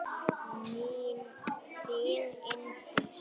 Þín Unndís Ýr.